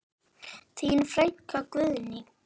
Þín frænka Guðný.